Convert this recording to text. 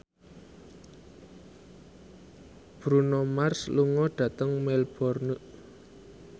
Bruno Mars lunga dhateng Melbourne